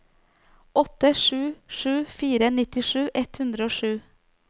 åtte sju sju fire nittisju ett hundre og sju